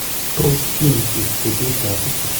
Tos' kiinti cri du chat?